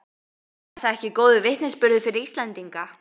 Er það ekki góður vitnisburður fyrir Íslendinga?